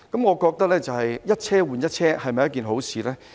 我認為一車換一車不失是一件好事。